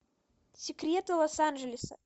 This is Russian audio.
секреты лос анджелеса